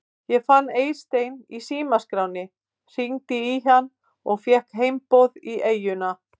Ég fann Eystein í símaskránni, hringdi í hann og fékk heimboð í eyjuna.